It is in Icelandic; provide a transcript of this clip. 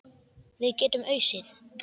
Við getum ausið.